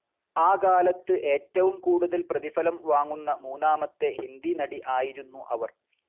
ആ കാലത്ത് ഏറ്റവും കൂടുതൽ പ്രതിഫലം വാങ്ങുന്ന മൂന്നാമത്തെ ഹിന്ദി നടി ആയിരുന്നു അവർ.